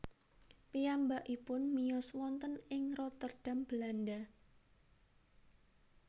Piyambakipun miyos wonten ing Rotterdam Belanda